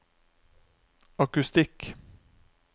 akustikk